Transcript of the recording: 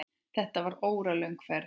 Þetta var óralöng ferð.